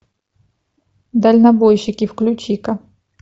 дальнобойщики включи ка